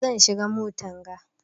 Zan shiga motan ga.